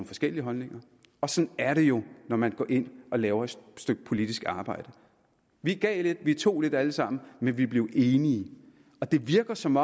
forskellige holdninger og sådan er det jo når man går ind og laver et stykke politisk arbejde vi gav lidt og vi tog lidt alle sammen men vi blev enige og det virker som